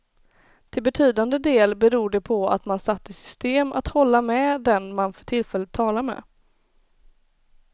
Till betydande del beror det på att man satt i system att hålla med den man för tillfället talar med.